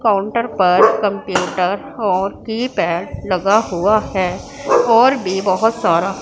counter पर computer और keypad लगा हुआ है और भी बहुत सारा--